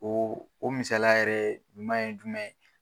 O o misala yɛrɛ ɲuma ye jumɛn.